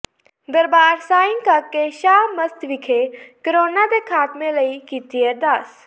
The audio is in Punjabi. ਦਰਬਾਰ ਸਾਈਂ ਕਾਕੇ ਸ਼ਾਹ ਮਸਤ ਵਿਖੇ ਕੋਰੋਨਾ ਦੇ ਖ਼ਾਤਮੇ ਲਈ ਕੀਤੀ ਅਰਦਾਸ